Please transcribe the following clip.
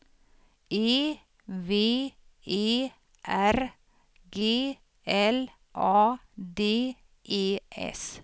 E V E R G L A D E S